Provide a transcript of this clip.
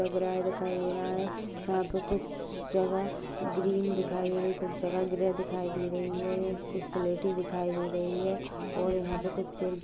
दिखाई दे रहा है यहाँ पे कुछ जगह ग्रीन दिखाई दे रहा है कुछ जगह दिखाई दे रहि है इसके स्लेटी दिखाई दे रही है और यहाँ पे कुछ पे --